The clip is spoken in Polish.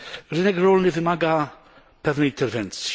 Rynek rolny wymaga pewnej interwencji.